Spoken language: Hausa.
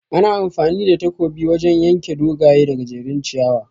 Ana amfani da takobi wajan yanke dogaye da gajejjerun ciyawa